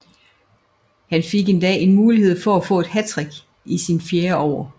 Han fik endda en mulighed for at få et hattrick i sin fjerde over